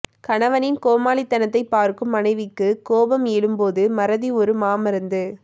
கணவனின் கோமாளித்தனத்தை பார்க்கும் மனைவிக்கு கோபம் எழும்போது மறதி ஒரு மா மருந்து